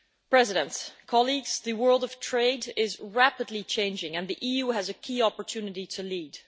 President, colleagues, the world of trade is rapidly changing and the EU has a key opportunity to lead.